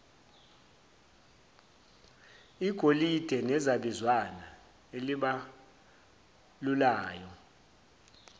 igolide nezabizwana ezibalulayo